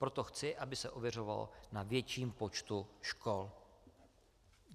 Proto chci, aby se ověřovalo na větším počtu škol.